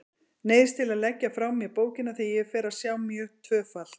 Neyðist til að leggja frá mér bókina þegar ég fer að sjá mjög tvöfalt.